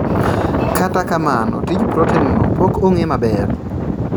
Kata kamano, tij proten no pok ong'e maber